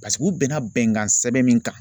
Paseke u bɛnna bɛnkan sɛbɛn min kan